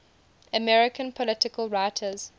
american political writers